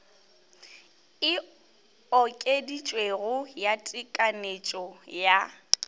e okeditšwego ya tekanyetšo ya